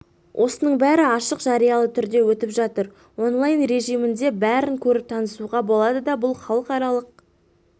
осының бәрі ашық жариялы түрде өтіп жатыр онлайн режімінде бәрін көріп танысуға болады бұл да халықаралық